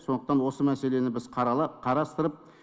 сондықтан осы мәселені біз қарастырып